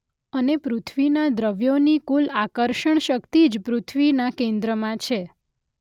અને પૃથ્વીના દ્રવ્યોની કુલ આકર્ષણ શક્તિ જ પૃથ્વીના કેન્દ્રમાં છે